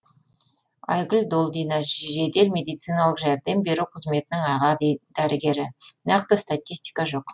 айгүл долдина жедел медициналық жәрдем беру қызметінің аға дәрігері нақты статистика жоқ